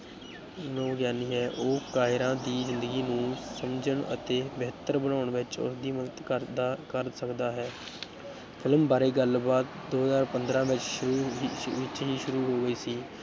ਮਨੋਵਿਗਿਆਨੀ ਹੈ, ਉਹ ਕਾਇਰਾ ਦੀ ਜ਼ਿੰਦਗੀ ਨੂੰ ਸਮਝਣ ਅਤੇ ਬਿਹਤਰ ਬਣਾਉਣ ਵਿੱਚ ਉਸਦੀ ਮਦਦ ਕਰਦਾ, ਕਰ ਸਕਦਾ ਹੈ film ਬਾਰੇੇ ਗੱਲਬਾਤ, ਦੋ ਹਜ਼ਾਰ ਪੰਦਰਾਂ ਵਿੱਚ ਸ਼ੁ ਵਿੱਚ ਵਿੱਚ ਹੀ ਸ਼ੁਰੂ ਹੋ ਗਈ ਸੀ।